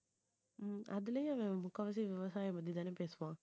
உம் அதுலயும் அவன் முக்காவாசி விவசாயம் பத்தி தானே பேசுவான்